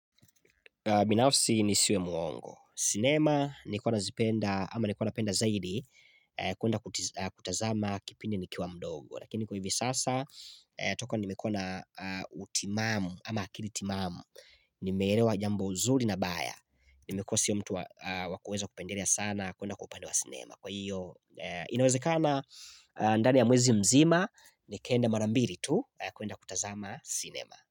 Binafsi nisiwe muongo. Sinema nikona zipenda ama nikona penda zaidi kwenda kutazama kipindi nikiwa mdogo. Lakini kwa hivi sasa toka nimekua na utimamu ama akilitimamu nimerewa jambo zuri na baya. Nimekua siyo mtu wa kuweza kupenderea sana kwenda kupande wa sinema. Kwa hiyo inawezekana ndani ya mwezi mzima nikenda marambili tu kwenda kutazama sinema.